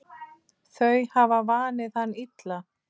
Þau hafa vanið hann illa.